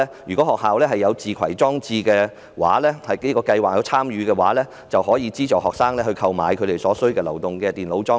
如果學校有參與自攜裝置電子學習計劃，就可以資助學生購買所需的流動電腦裝置。